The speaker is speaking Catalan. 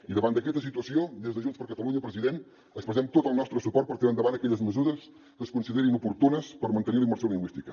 i davant d’aquesta situació des de junts per catalunya president expressem tot el nostre suport per tirar endavant aquelles mesures que es considerin oportunes per mantenir la immersió lingüística